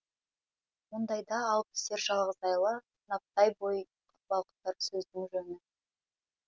мұндайда алып түсер жалғыз айла сынаптай бой балқытар сөздің жөні